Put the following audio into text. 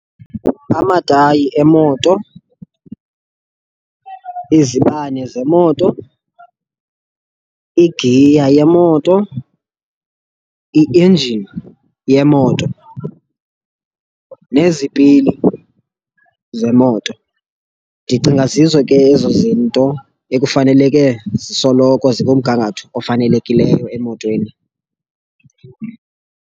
Amatayi emoto, izibane zemoto, igiya yemoto, i-engine yemoto nezipili zemoto, ndicinga zizo ke ezo zinto ekufaneleke zisoloko zikumgangatho ofanelekileyo emotweni.